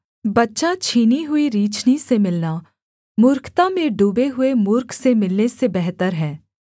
बच्चाछीनीहुईरीछनी से मिलना मूर्खता में डूबे हुए मूर्ख से मिलने से बेहतर है